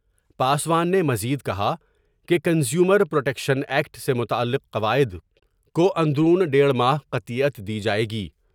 پاسوان نے مزید کہا کہ کنزیومر پر ٹیکشن ایکٹ سے متعلق قواعد کواندرون دیڑھ ماہ قطعیت دی جاۓ گی ۔